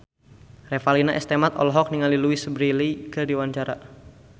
Revalina S. Temat olohok ningali Louise Brealey keur diwawancara